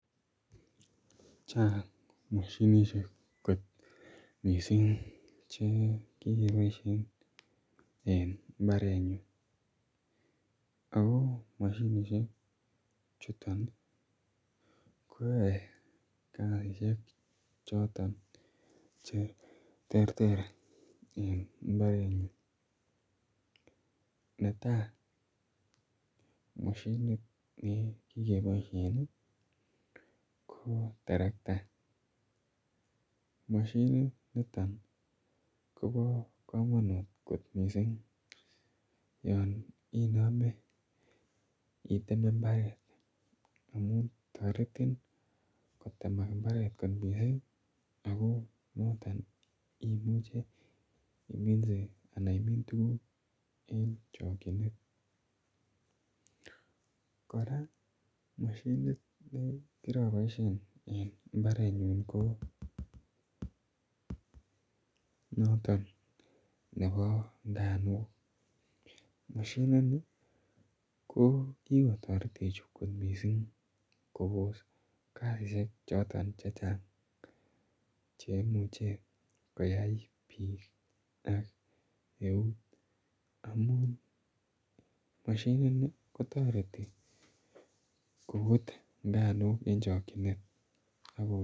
Chang' kot mosinisiek kot missing' che kikepaishen en mbranyun. Ako mosinisiechuton konyae kasishek choton che terter en mbarenyun. Ne tai, mosinit ne kikepaishen ko teretka. Mosininiton ko pa kamanut kot missing' yan iname iteme mbaret amun taretin kotemak mbaret ko chulak. Akp noton imuchi iminse anan imin tuguuk en chakchinet. Kora mosinit ne kiapaishen en mbraenyun ko notom nepa nganuuk. Mosinini ko kikotaretech kot missing' ko pos kasishek choton che chang' che imuche koyai piik ak eut amun mosinini kotareti koput nganuuk eng' chakchinet.